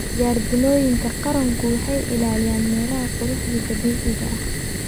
Jardiinooyinka qaranku waxay ilaaliyaan meelaha quruxda dabiiciga ah.